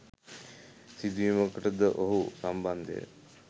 සිදුවීමකට ද ඔහු සම්බන්ධ ය